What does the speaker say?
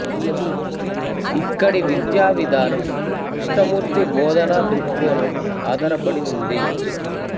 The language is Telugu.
ఇక్కడి విద్యా విధానం కృష్ణమూర్తి బోధనా దృక్కోణం ఆధారపడి ఉంది